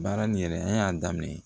Baara nin yɛrɛ an y'a daminɛ